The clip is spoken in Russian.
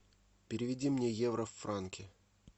переведи мне евро в франки